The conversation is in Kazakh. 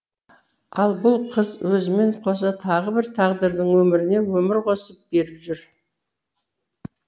ал бұл қыз өзімен қоса тағы бір тағдырдың өміріне өмір қосып беріп жүр